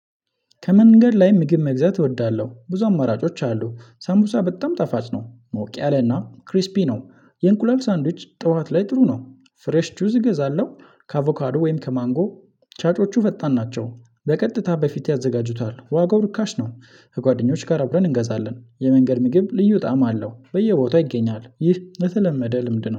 ከመንገድ ላይ ምግብ መግዛት እወዳለሁ ብዙ አማራጮች አሉ ሳቡሳ በጣም ጣፋጭ ነው ሞቅ ያለና ክሪስፒ ነው። የእንቁላል ሳንድዊች ጠዋት ላይ ጥሩ ነው። ፍሬሽ ጁስ እገዛለሁ ከአቮካዶ ወይም ከማንጎ። ፅጮቹ ፈጣን ናቸው በቀጥታ በፊት ያዘጋጁታል ዋጋው ርካሽ ነው። ከጓደኞች ጋር አብረን እንገዛለን የመንገድ ምግብ ልዩ ጣዕም አለው በየቦታው ይገኛል። ይህ ለተለመደ ልምድ ነው